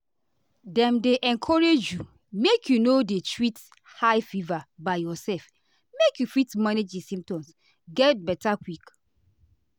dem dey encourage you make you no dey treat high fever by yourself make you fit manage di symptoms get beta quick